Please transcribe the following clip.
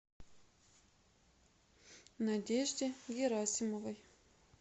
надежде герасимовой